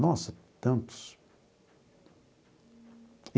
Nossa, tantos!